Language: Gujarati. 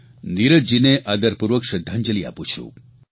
નીરજજીને આદરપૂર્વક શ્રદ્ધાંજલિ પાઠવું છું